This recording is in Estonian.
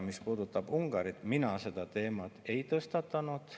Mis puudutab Ungarit, siis mina seda teemat ei tõstatanud.